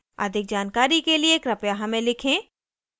अधिक जानकारी के लिए कृपया हमें लिखें